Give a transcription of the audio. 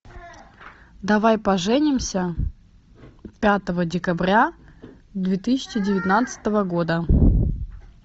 давай поженимся пятого декабря две тысячи девятнадцатого года